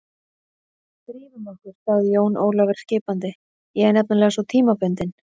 Drífum okkur, sagði Jón Ólafur skipandi, ég er nefnilega svo tímabundinn.